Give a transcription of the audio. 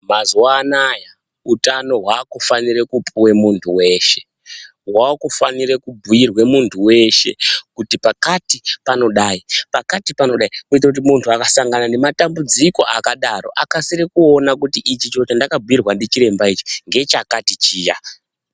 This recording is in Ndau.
Mazuwa anaya utano hwakufanira kupuwe muntu weshe. Vakufanira kubhuirwa muntu veshe, kuti pakati panodai, pakati panodai kuitire kuti muntu akasangana nematambudziko akadaro akasire kuona kuti , ichi chiro chandakabhuirwa ndichiremba ngechakati chiya.